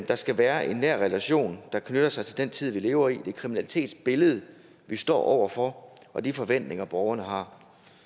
der skal være en nær relation der knytter sig til den tid vi lever i og det kriminalitetsbillede vi står over for og de forventninger borgerne har